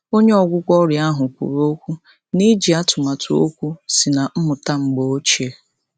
Onye ọgwụgwọ ọrịa ahụ kwụrụ okwu n'iji atụmatụ okwu sị na mmụta mgbe ochie.